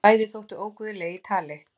Bæði þóttu óguðleg í tali.